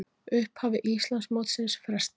Upphafi Íslandsmótsins frestað